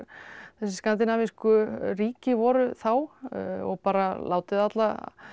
skandinavísku ríki voru þá og bara látið alla